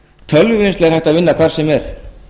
tölvuvinnslu er hægt að vinna hvar sem er